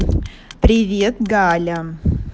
привет галя